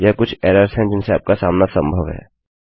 यह कुछ एरर्स हैं जिनसे आपका सामना संभव है